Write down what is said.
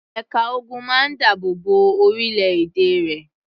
Ẹ̀ka ogun máa ń dáàbò bo orílẹ̀-èdè rẹ̀.